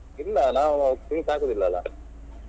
ಇಲ್ಲಾ ನಾವು drinks ಹಾಕುದಿಲ್ಲ ಅಲ್ಲ.